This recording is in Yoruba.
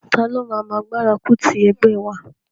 Taló máa máa gbárùkù ti ẹgbẹ́ wa?